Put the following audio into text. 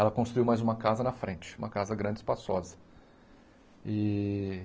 Ela construiu mais uma casa na frente, uma casa grande e espaçosa. E